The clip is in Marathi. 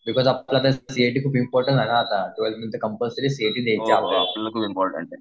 बिकॉज सी ए टी खूप इम्पॉर्टन्ट आहे ना आता. ट्वेल्थ नंतर कंपलसरी सी ए टी